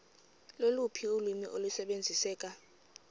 loluphi ulwimi olusebenziseka